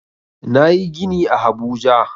Nayi gini a habuja